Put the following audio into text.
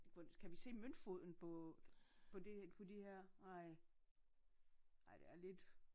Kan vi se møntfoden på på det på de her nej nej det er lidt